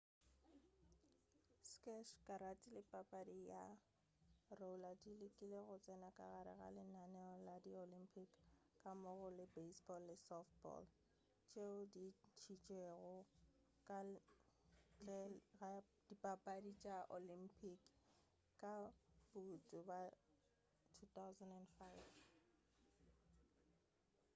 sqash karate le papadi ya roller di lekile go tsena ka gare ga lenaneo la di olympic gammogo le baseball le softball tšeo di ntšhitšwego ka ntle ga dipapadi tša di olympic ka bouto ka 2005